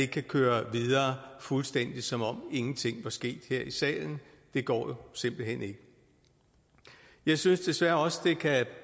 kan køre videre fuldstændig som om ingenting var sket her i salen det går jo simpelt hen ikke jeg synes desværre også det kan